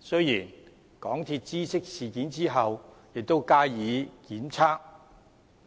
雖然港鐵公司知悉事件後加以檢測，